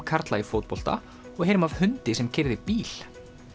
karla í fótbolta og heyrum af hundi sem keyrði bíl